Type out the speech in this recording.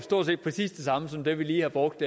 jeg giver ordet